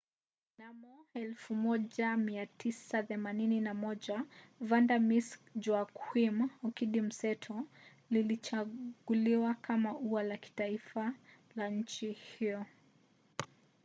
mnamo 1981 vanda miss joaquim okidi mseto lilichaguliwa kama ua la kitaifa la nchi hiyo